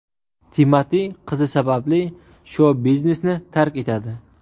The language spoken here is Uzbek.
Timati qizi sababli shou-biznesni tark etadi.